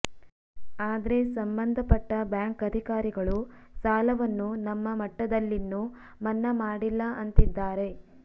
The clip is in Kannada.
ಆದ್ರೆ ಸಂಬಂಧಪಟ್ಟ ಬ್ಯಾಂಕ್ ಅಧಿಕಾರಿಗಳು ಸಾಲವನ್ನು ನಮ್ಮ ಮಟ್ಟದಲ್ಲಿನ್ನೂ ಮನ್ನಾ ಮಾಡಿಲ್ಲ ಅಂತಿದ್ದಾರೆ